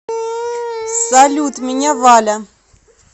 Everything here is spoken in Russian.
салют меня валя